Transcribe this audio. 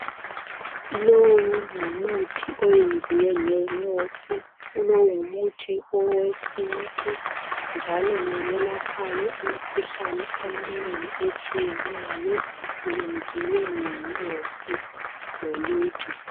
Lowu ngumuthi oyenziwe ngenyosi, lowu ngumuthi owesintu njalo ngoyelaphayo imikhuhlane eminengi etshiyeneyo wenziwe ngenyosi loluju.